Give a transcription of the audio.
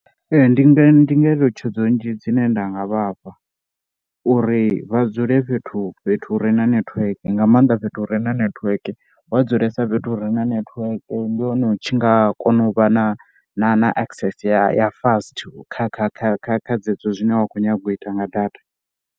Ee, ndi nga ndi ngeletshedzo nnzhi dzine nda nga vha fha uri vha dzule fhethu fhethu uri na network nga maanḓa fhethu hu re na network. Wa dzulesa fhethu hu re na network ndi hone u tshi nga kona u vha na na na access ya fast kha kha kha kha kha dzedzo zwine wa khou nyaga u ita nga data.